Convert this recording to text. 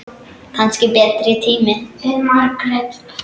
Kannski betri tíma.